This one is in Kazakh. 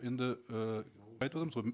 енді і айтып отырмыз ғой